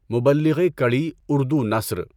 مبلّغِ کڑی اردو نثر